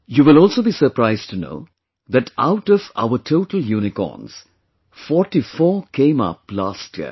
You will also be surprised to know that out of our total unicorns, forty four came up last year